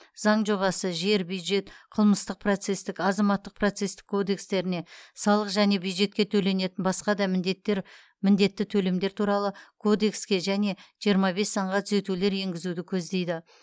заң жобасы жер бюджет қылмыстық процестік азаматтық процестік кодекстеріне салық және бюджетке төленетін басқа да міндеттер міндетті төлемдер туралы кодекске және жиырма бес заңға түзетулер енгізуді көздейді